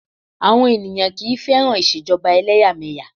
Àwọn ènìyàn kì í fẹ́ràn Ìṣèjọba ẹlẹ́yàmẹ̀yà.